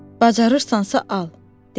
Bacararsansa al, dedi.